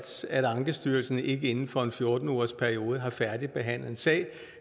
at ankestyrelsen ikke inden for en fjorten ugersperiode havde færdigbehandlet en sag